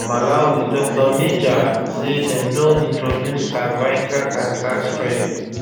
for malawi dr meja say dem don introduce cervical cancer screening